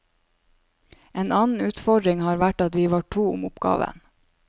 En annen utfordring har vært at vi var to om oppgaven.